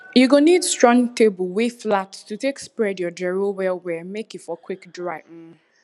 you go need strong table wey flat to take spread your gero well well make e for quick dry um